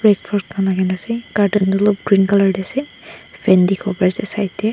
khan lagai gina ase aro curtain tu olop green color de ase fan dikhi bo pare ase side de.